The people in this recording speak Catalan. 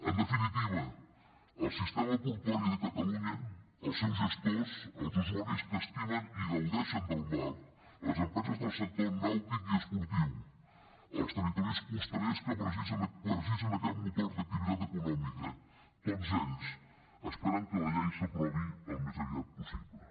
en definitiva el sistema portuari de catalunya els seus gestors els usuaris que estimen i gaudeixen del mar les empreses del sector nàutic i esportiu els territoris costaners que necessiten aquest motor d’activitat econòmica tots ells esperen que la llei s’aprovi al més aviat possible